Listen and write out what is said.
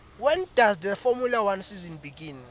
when does the formula one season begin